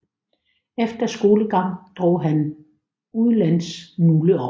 Efter skolegang drog han udlands nogle år